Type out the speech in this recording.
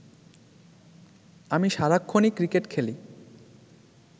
আমি সারাক্ষণই ক্রিকেট খেলি